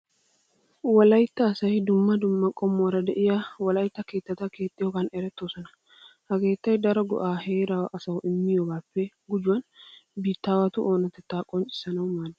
Wolaytta asay dumma dumma qommuwara de'iya wolaytta keettata keexxiyogan erettoosona. Ha keettay daro go"aa heeraa asawu immiyogaappe gujuwan biittaawatu oonatettaa qonccissanawu maaddees.